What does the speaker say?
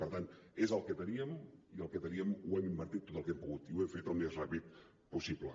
per tant és el que teníem i el que teníem ho hem invertit tot el que hem pogut i ho hem fet el més ràpid possible